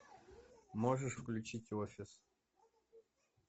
можешь включить офис